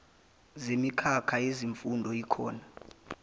zemikhakha yezifundo yikhona